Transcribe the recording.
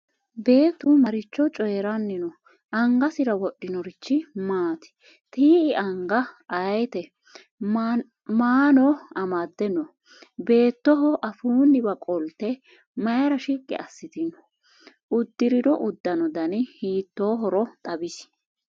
Beettu maricho coyiranni no?angasira wodhinorichi maati? ti'i anga ayiite? maano amadde no?beettoho afuunniwa qolite mayiira shiqi asitanni no?udirinno udanno danni hiitohoro xawisi?